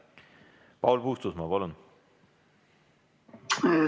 Paul Puustusmaa, palun!